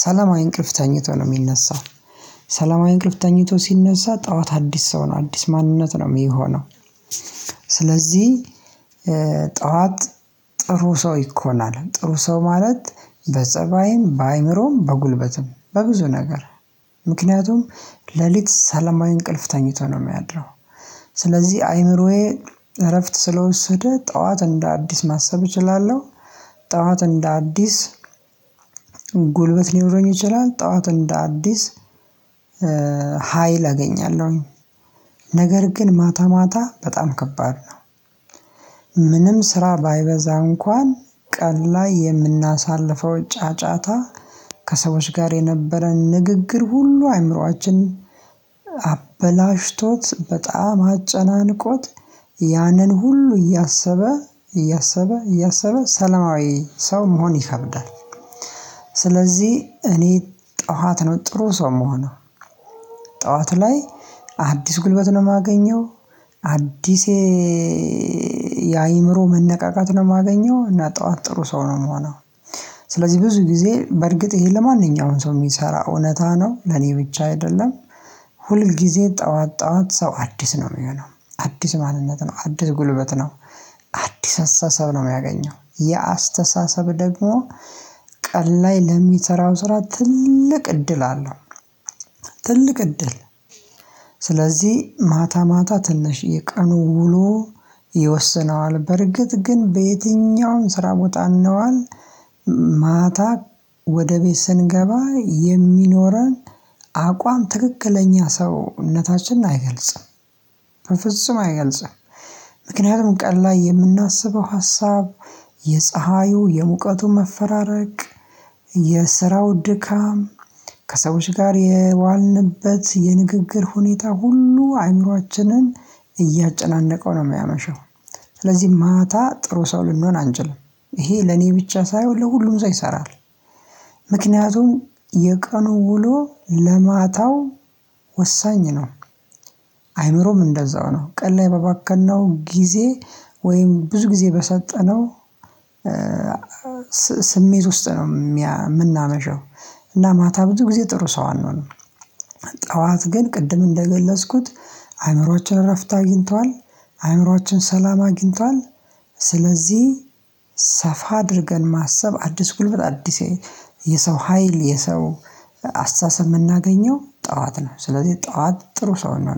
ሰላማዊ እንቅልፍ ተኝቶ ነው የሚነሳው። ሰላማዊ እንቅልፍ ተኝቶ ሲነሳ ጠዋት አዲስ ሰው ነው። አዲስ ማንነት ነው የሚሆነው። ስለዚህ ጠዋት ጥሩ ሰው ይኮናል፤ ጥሩ ሰው ማለት በፀባይም በአእምሮም በጉልበትም በብዙ ነገር ምክንያቱም ሌሊት ሰላማዊ እንቅልፍ ተኝቶ ነው የሚያድረው። ስለዚህ አይምሮዬ እረፍት ስለወሰደ ጠዋት እንደ አዲስ ማሰብ እችላለሁ። ጠዋት እንደ አዲስ ጉልበት ሊኖረኝ ይችላል። ጠዋት እንደ አዲስ ሀይል አገኛለሁኝ። ነገር ግን ማታ ማታ በጣም ከባድ ነው። ምንም ስራ ባይበዛ እንኳን ቀን ላይ የምናሳልፈው ጫጫታ ከሰዎች ጋር የነበረን ንግግር ሁሉ አእምሮአችን አበላሽቶት በጣም አጨናንቆት ያንን ሁሉ እያሰበ እያሰበ እያሰበ ሰላማዊ ሰው መሆን ይከብዳል። ስለዚህ እኔ ጠዋት ነው ጥሩ ሰው የምሆነው። ጠዋት ላይ አዲስ ጉልበት ነው የማገኘው፤ አዲስ የአእምሮ መነቃቃት ነው የማገኘው። እና ጠዋት ጥሩ ሰው ነው የምሆነው። ስለዚህ ብዙ ጊዜ በእርግጥ ይሄ ለማንኛውም ሰው የሚሰራ እውነት ነው። ለኔ ብቻ አይደለም። ሁል ጊዜ ጠዋት ጠዋት ሰው አዲስ ነው የሚሆነው። አዲስ ማንነት ነው። አዲስ ጉልበት ነው። አዲስ አስተሳሰብ ነው የሚያገኘው። የአስተሳሰብ ደግሞ ቀን ላይ ለሚሰራው ስራ ትልቅ እድል አለው። ትልቅ እድል ስለዚህ ማታ ማታ ትንሽ የቀኑ ውሎ ይወስነዋል በርግጥ፤ ግን በየትኛውም ስራ ቦታ እንዋል ማታ ወደ ቤት ስንገባ የሚኖረን አቋም ትክክለኛ ሰውነታችን አይገልጽም። በፍጹም አይገልጽም። ምክንያቱም ቀን ላይ የምናስበው ሀሳብ የፀሀዩ የሙቀቱ መፈራረቅ የስራው ድካም ከሰዎች ጋር የዋልንበት የንግግር ሁኔታ ሁሉ አእምሮአችንን እያጨናነቀው ነው የሚያመሸው። ስለዚህ ማታ ጥሩ ሰው ልንሆን አንችልም። ይሄ ለኔ ብቻ ሳይሆን ለሁሉም ሰው ይሰራል። ምክንያቱም የቀኑ ውሎ ለማታው ወሳኝ ነው። አይምሮም እንደዛው ነው። ቀን ላይ በባከነው ጊዜ ወይም ብዙ ጊዜ በሰጠነው ስሜት ውስጥ ነው የምናመሸው። እና ማታ ብዙ ጊዜ ጥሩ ሰው አንሆንም። ጠዋት ግን ቅድም እንደገለጽኩት አእምሮአችን እረፍት አግኝቷል። አእምሮአችን ሰላም አግኝቷል። ስለዚህ ሰፋ አድርገን ማሰብ አዲስ ጉልበት አዲስ የሰው ሀይል የሰው አስተሳሰብ የምናገኘው ጠዋት ነው። ስለዚህ ጠዋት ጥሩ ሰው ነው የምንሆነው።